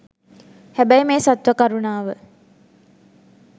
හැබැයි මේ සත්ව කරුණාව